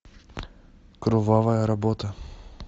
кровавая работа